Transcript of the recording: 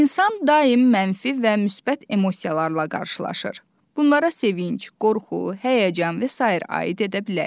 İnsan daim mənfi və müsbət emosiyalarla qarşılaşır, bunlara sevinc, qorxu, həyəcan və sair aid edə bilərik.